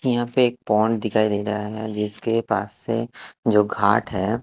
यहाँ पर एक पोंड दिखाई दे रहा है जिस के पास से जो घाट है--